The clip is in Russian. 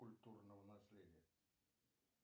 культурного наследия